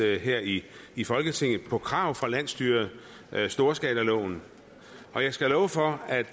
her i i folketinget på krav fra landsstyret storskalaloven og jeg skal love for at